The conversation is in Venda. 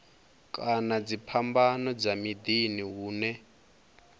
kana dziphambano dza miḓini hune